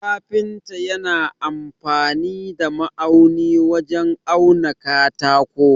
Kafinta yana amfani da ma'auni wajen auna katako.